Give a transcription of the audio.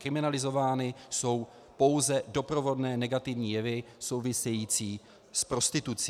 Kriminalizovány jsou pouze doprovodné negativní jevy související s prostitucí.